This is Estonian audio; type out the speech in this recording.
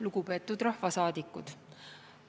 Lugupeetud rahvasaadikud!